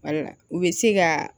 u bɛ se ka